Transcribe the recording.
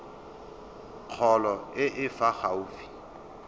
kgolo e e fa gaufi